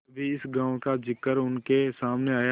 कभी इस गॉँव का जिक्र उनके सामने आया